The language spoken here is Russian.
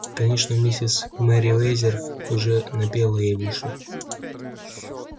конечно миссис мерриуэзер уже напела ей в уши